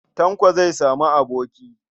Tanko zai sami aboki.